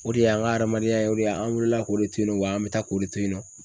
O de y'an ɲa adamadenya ye o de ye an woola k'o de to yen nɔ wa an bɛ taa k'o de to yen nɔ.